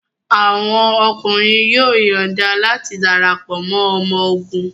Awọn ọkunrin yoo yọọda lati darapọ mọ ọmọ ogun